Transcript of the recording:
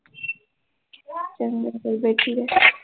ਚੰਗਾ ਫਿਰ ਬੈਠੀ ਰਹਿ